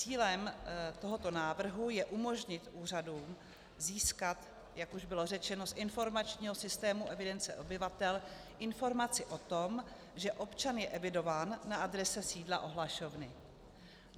Cílem tohoto návrhu je umožnit úřadům získat, jak už bylo řečeno, z informačního systému evidence obyvatel informaci o tom, že občan je evidován na adrese sídla ohlašovny.